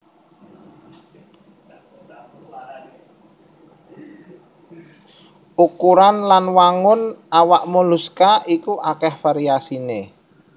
Ukuran lan wangun awak moluska iku akèh variasiné